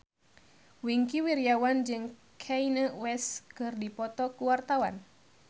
Wingky Wiryawan jeung Kanye West keur dipoto ku wartawan